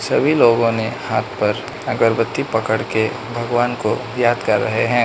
सभी लोगों ने हाथ पर अगरबत्ती पकड़ के भगवान को याद कर रहे हैं।